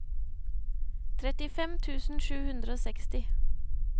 trettifem tusen sju hundre og seksti